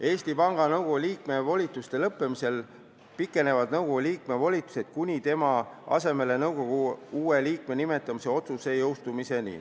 Eesti Panga Nõukogu liikme volituste lõppemisel pikenevad nõukogu liikme volitused seniks, kuni jõustub tema asemele nõukogu uue liikme nimetamise otsus.